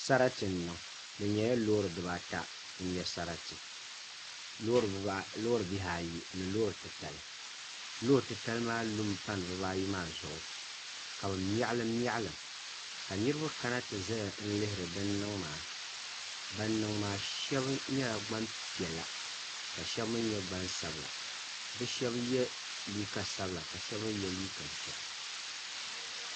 Sarati n niŋ di nyɛla loori bibaata n nyɛ sarati loori bihi ayi ni loori titali loori titali maa lumi pani bibaayi maa zuɣu ka bi miɣalim miɣalim ka niraba kana ti ʒɛya n lihiri din niŋ maa ban niŋ maa shab nyɛla gbanpiɛla ka shab mii nyɛ gbansabila bi shab yɛ liiga sabila ka shab mii yɛ liiga ʒiɛ